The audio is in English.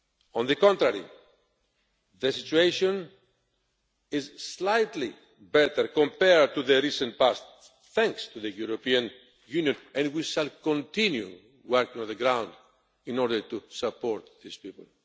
On the contrary, the situation is slightly better compared to the recent past thanks to the European Union, and we shall continue working on the ground in order to support these people.